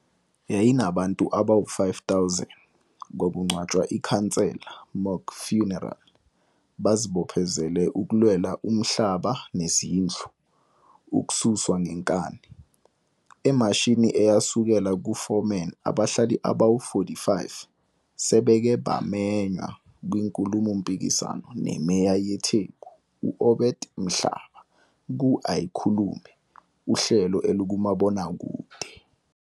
Yayinabantu abawu 5000, kwakungcwatshwa ikhansela, Mock Funeral, bazibophezele ukulwela umhlaba nezindlu, ukususwa ngenkani. Emashini eyasukela kuForeman, bahlali abawu-45 sebeke bamenywa kwinkulumo mpikiswano neMeya yeTheku u-Obed Mlaba ku-Aikhulume uhlelo olukumabonakude.